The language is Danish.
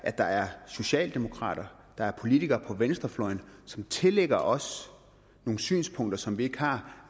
at der er socialdemokrater der er politikere på venstrefløjen som tillægger os nogle synspunkter som vi ikke har